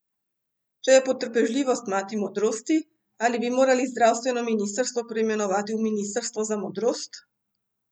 Če je potrpežljivost mati modrosti, ali bi morali zdravstveno ministrstvo preimenovati v ministrstvo za modrost?